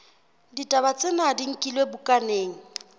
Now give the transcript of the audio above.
ditaba tsena di nkilwe bukaneng